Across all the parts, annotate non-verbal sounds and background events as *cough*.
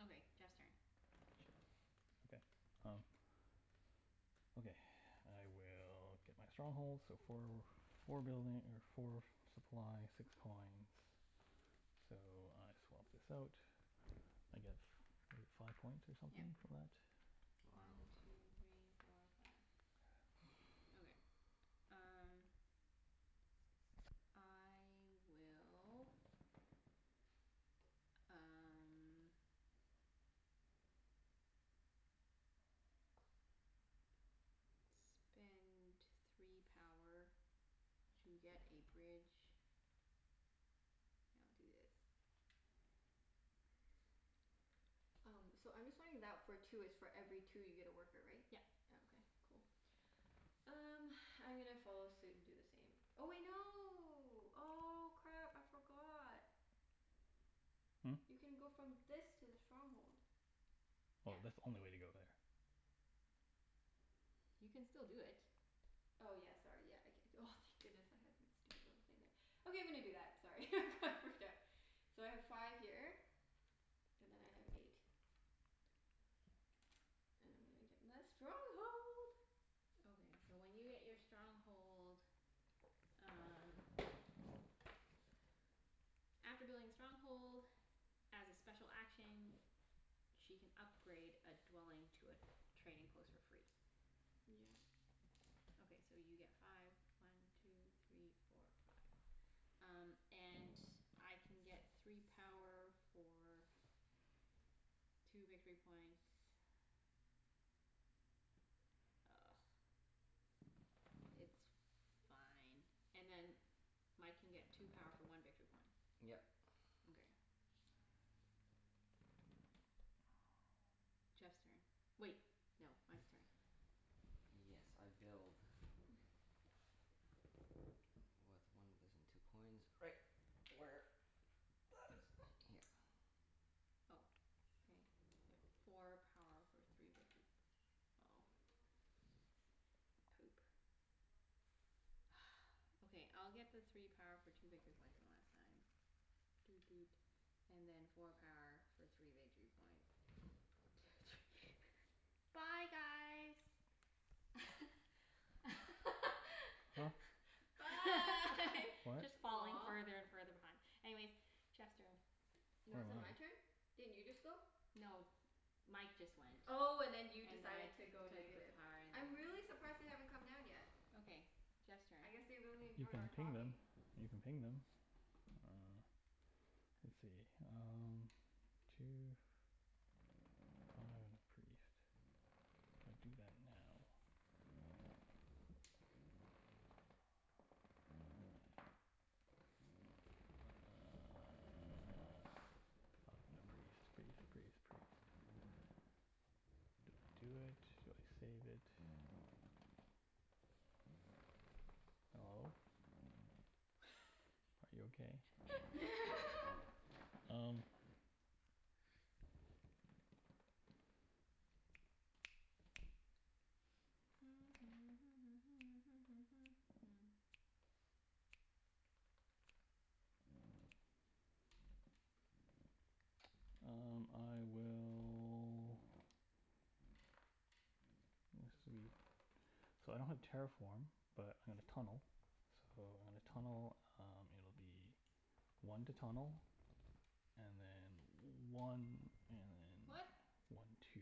Okay, Jeff's turn. Okay, um Okay. *noise* I will get my stronghold, so four w- four building or four supply, six coins. So I swap this out. I get f- I get five points or Yep. something for that? Wow. One two three four five. Okay, *noise* *noise* um I will um spend three power to get a bridge. And I'll do this. Um, so I'm just wondering that for two, it's for every two you get a worker, right? Yep. Oh, okay. Cool. Um, *noise* I'm gonna follow suit and do the same. Oh wait, no. Oh, crap. I forgot. Hmm? You can go from this to the stronghold. Oh, Yep. that's the only way to go there. You can still do it. Oh yeah, sorry. Yeah. I c- c- oh, thank goodness, I had a stupid little thing there. Okay, I'm gonna do that. Sorry, I got freaked out. So I have five here and then I have eight. And I'm gonna get my stronghold. Okay, so when you get your stronghold um After building a stronghold, as a special action, she can upgrade a dwelling to a trading post for free. Yeah. Okay, so you get five. One two three four five. Um and I can get three power for two victory points. Ugh. It's fine. And then Mike can get two power for one Yep. victory point. Okay. *noise* *noise* Jeff's turn. Wait, no. Mike's turn. Yes, I build. *noise* With one *inaudible* *noise* and two coins. Right. Where That is right here. Oh, okay. Four power for three victor- oh Poop. *noise* Okay, I'll get the three power for two victory points one last time. Doot doot. And then four power for three victory points. Two three *laughs* Bye guys. Huh? *laughs* Bye. What? Just falling Aw. further and further behind. Anyways, Jeff's turn. I No, is it dunno. my turn? Didn't you just go? No, Mike just went. Oh, and then you And then decided I to go took the negative. power I'm really surprised they haven't come down yet. Okay. Jeff's turn. I guess they really You enjoy can our ping them. talking. You can ping them. Uh let's see, um Two *inaudible* priest. If I do that now *noise* Priest priest priest priest. Do I do it? Do I save it? Hello? Are you okay? *laughs* *laughs* Um *noise* Um I will That's sweet. So I don't have terraform but I'm gonna tunnel. So when I tunnel um it'll be one to tunnel, and then one and then What? one two.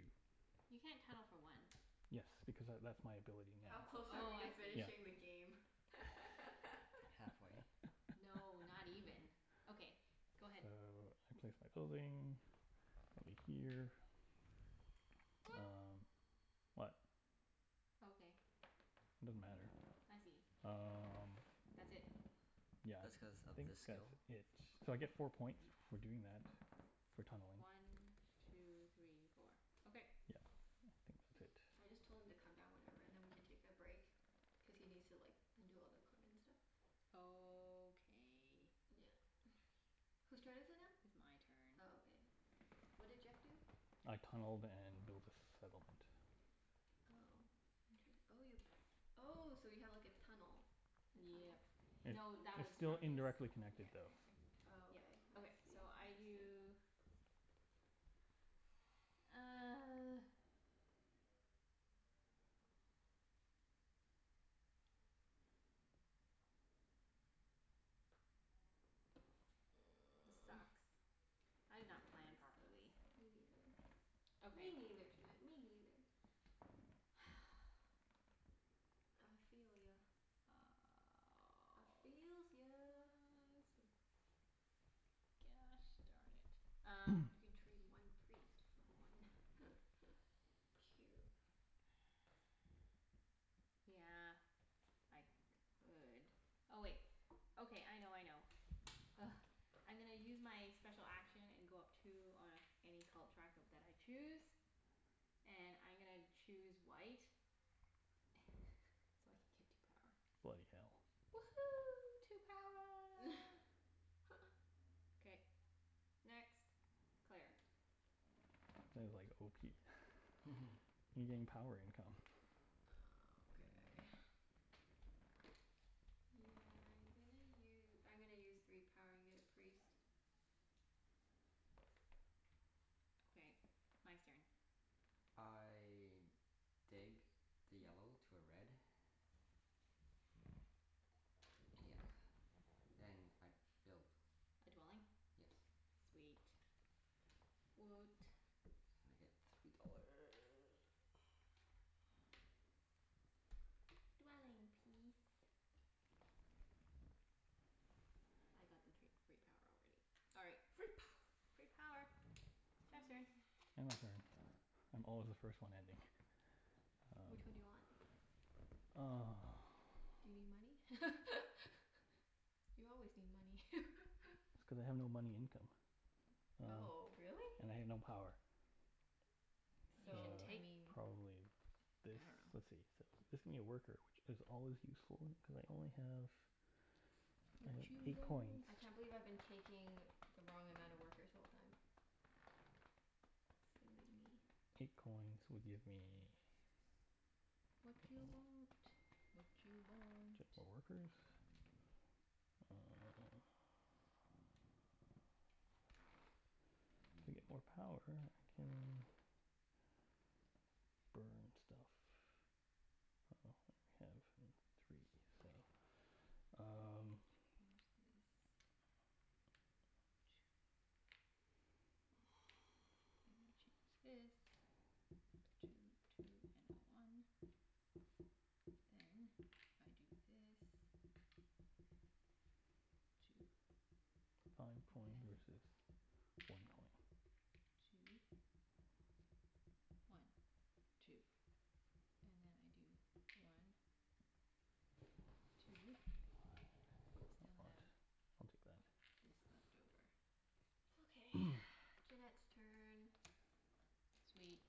You can't tunnel for one. Yes, because tha- that's my ability How close now. are Oh, we to I see. Yeah. finishing the game? *laughs* Halfway. No, *laughs* not even. Okay, So, go ahead. I place my building over here. What? Um what? Okay. It doesn't matter. I see. Um That's it. Yeah, That's cuz I of think this skill? that's it. So I get four points for doing that. For tunneling. One two three four. Okay. Yeah, I think that's I just it. told him to come down whenever and then we can take a break. Cuz he needs to like undo all the equipment and stuff. Okay. Yeah. *noise* Whose turn is it now? It's my turn. Oh, okay. What did Jeff do? I tunneled and built a settlement. Oh, inter- oh you, oh so you have like a tunnel, a tunnel? Yep. It No, that it's was still from his, Interesting. indirectly connected yeah, though. anyway. Oh, Yep. okay. I Okay, see. so I Interesting. do *noise* *noise* This sucks. I Yeah, did not plan this sucks. properly. Me neither. Me Okay. neither, Junette, me neither. *noise* I feel ya. I feels ya. *noise* Sucks. Gosh darn it. Um You *noise* can trade one priest for one *laughs* cube. Yeah, I could. Oh, wait. Okay, I know, I know. Ugh. I'm gonna use my special action and go up two on any cult track of that I choose. And I'm gonna choose white. *laughs* So I can get two power. Bloody hell. Woohoo, two power. *laughs* K. Next. Claire. Sounded like *laughs* *inaudible* You getting power income. Oh, okay. *noise* Yeah, I'm gonna u- I'm gonna use three power and get a priest. Okay. Mike's turn. I dig the yellow *noise* to a red. Yeah. And I build. A dwelling? Yes. Sweet. Woot. And I get three dollar. *noise* Dwelling peas. I got the tree free power already. All right. Free power. Free power. Jeff's turn. End my *noise* turn. I'm always the first one ending. Which one do you want? Um *noise* Do you need money? *laughs* You always need money. *laughs* That's cuz I have no money income, uh Oh, really? and I have no power. You So, So, should I take, mean probably this? I dunno. Let's see. So, this could be a worker which is always useful, cuz I only have I have Watchu eight coins. want? I can't believe I've been taking the wrong amount of workers the whole time. Silly me. *noise* Eight coins would give me Watchu want? Watchu want? *inaudible* more workers. Um To get more power I can burn stuff. Well, I have three, so Great. I'm gonna Um change this. *noise* And change *noise* this. *noise* Two two and a one. Then if I do this, two Five and coin then versus one one coin. two. One two. And then I do one *noise* What? two. Still have I'll take that. *noise* this left over. Okay, *noise* *noise* Junette's turn. Sweet.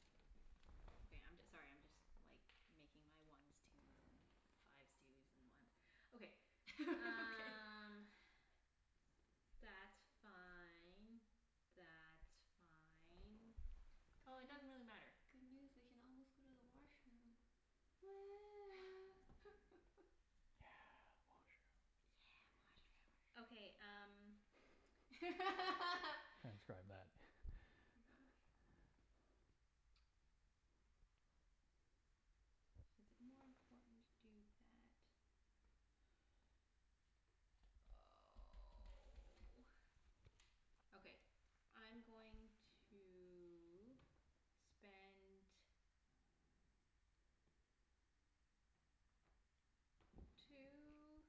Okay, I'm j- sorry, I'm just like making my ones twos and fives twos and ones. Okay. *laughs* Okay. Um that's fine. That's fine. Oh, it doesn't Guys, really matter. good news. We can almost go to the washroom. Woo. *laughs* Yeah, washroom. Yeah, Yeah, washroom. Okay, um washroom. *laughs* *laughs* Transcribe that. *laughs* Oh my gosh. Is it more important to do that? Oh. Okay, I'm going to spend two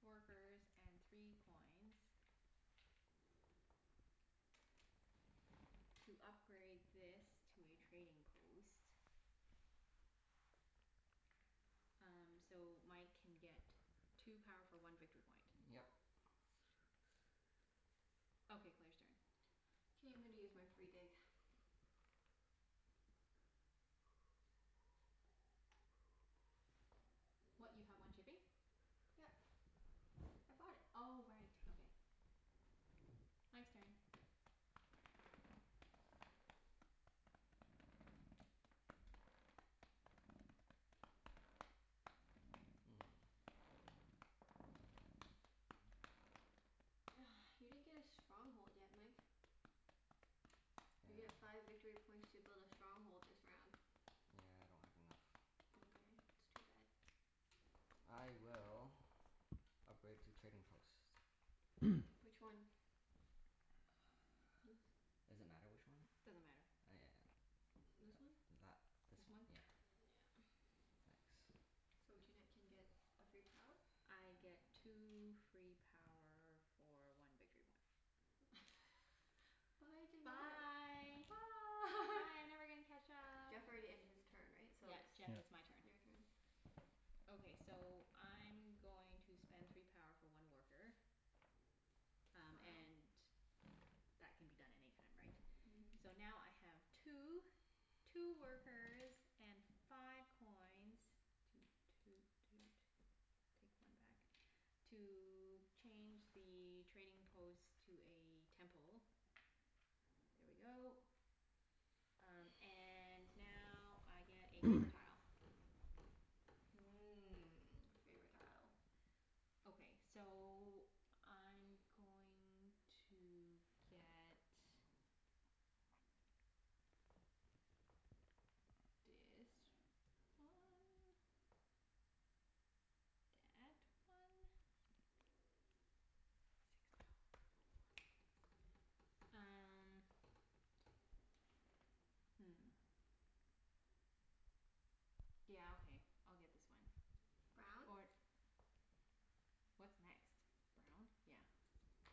workers and three coins to upgrade this to a trading post. Um so Mike can get two power for one victory point. Yep. Okay, Claire's turn. K, I'm gonna use my free dig. *noise* What, you have one shipping? *noise* Yep. I bought it. Oh right. Okay. Mike's turn. Hmm. *noise* You didn't get a stronghold yet, Mike. You get Yeah. five victory points to build a stronghold this round. Yeah, I don't have enough. Mkay, that's too bad. I will upgrade two trading posts. *noise* Which one? *inaudible* Does it matter which one? Doesn't matter. Oh This yeah, one? th- that this This one. one? Yeah. *noise* Yeah. *noise* Thanks. So Junette Yeah. can get a free power? I get two free power for one victory point. *laughs* Bye, Junette. Bye. Bye. Bye, I'm never gonna catch up. Jeff already ended his turn, right? So Yep, it's Jeff, Yeah. it's my turn. your turn. Okay, so I'm going to spend three power for one worker. Um Wow. and that can be done any time, right? So Mhm. now I have two two workers and five coins Toot toot toot. Take one back. To change the trading post to a temple. There we go. Um and now I get a favor *noise* tile. Mmm, favor tile. Okay. So I'm *noise* going to get Dis one. Dat one. Six power *inaudible* um hmm. Yeah, okay. I'll get this one. Brown? Or What's next? Brown? Yeah.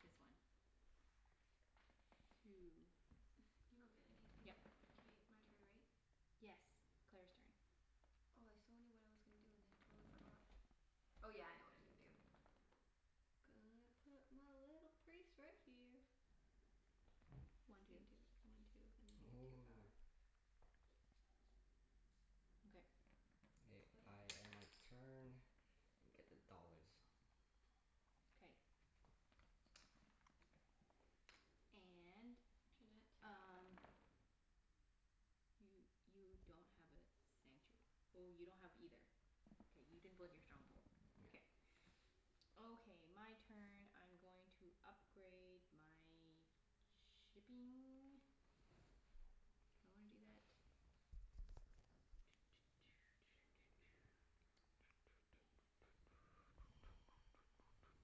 This one. Two. *noise* You don't get anything. Yep. K, my turn, right? Yes. Claire's turn. Oh, I so knew what I was gonna do and then I totally forgot. Oh, yeah. I know what I'm gonna do. Gonna put my little priest right here. This One two. can do one two and then I get two power. *noise* *noise* Okay. K, That's I about it. end my turn and get the dollars. K. And Junette? um You you don't have a sanctu- oh, you don't have either. K, you didn't build your stronghold. Yeah. K. Okay. My turn. I'm going to upgrade my shipping. Do I wanna do that? *noise*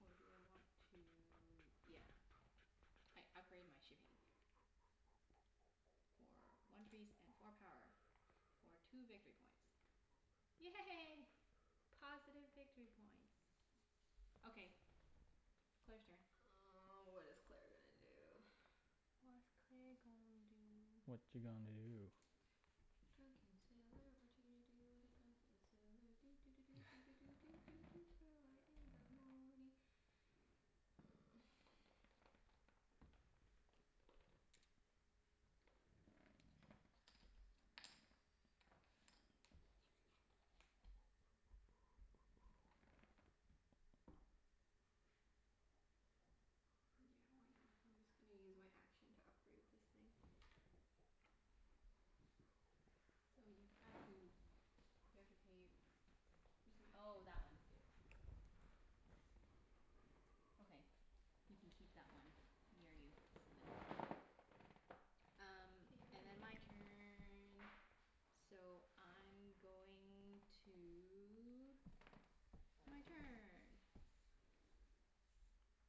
Or do I want to, yeah. I upgrade my shipping. For one priest and four power. For two victory points. Yay. Positive victory points. Okay, Claire's turn. Oh, what is Claire gonna do? *noise* What's Claire gonna do? Watcha gonna do? Drunken sailor, watcha gonna do with a drunken sailor, doo doo doo doo doo *laughs* doo doo doo doo early in the morning. *noise* Yeah, why not? I'm just gonna use my action to upgrade this thing. So you have to, you have to pay, It's my oh, action. that one. Yeah. Okay. You can keep that one near you so then *inaudible* Um Your and then turn. my turn. So I'm going to, my turn.